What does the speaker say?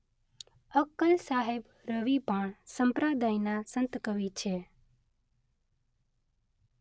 અક્કલ સાહેબ રવિ-ભાણ સંપ્રદાયના સંતકવિ છે.